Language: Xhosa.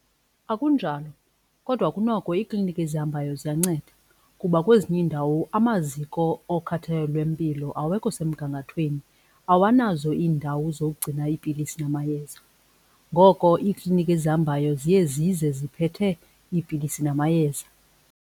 Akunjalo kodwa kunoko iikliniki ezihambayo ziyanceda kuba kwezinye iindawo amaziko okhathalelo lwempilo awekho semgangathweni, awanazo iindawo zokugcina iipilisi namayeza. Ngoko iikliniki ezihambayo ziye zize ziphethe iipilisi namayeza.